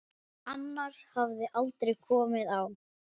Annar hafði aldrei komið á